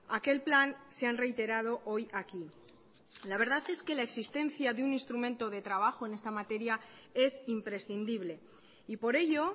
a aquel plan se han reiterado hoy aquí la verdad es que la existencia de un instrumento de trabajo en esta materia es imprescindible y por ello